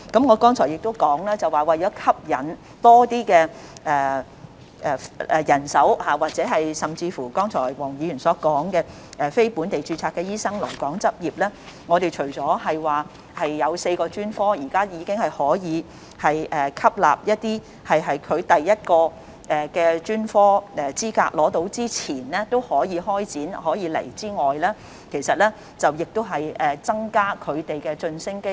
我剛才亦表示，為了吸引多些人手，尤其是黃議員剛才說的吸引非本地註冊醫生來港執業，我們除了讓4個專科可以吸納一些尚未取得第一個專科資格但已開展有關培訓的醫生來港外，亦增加他們的晉升機會。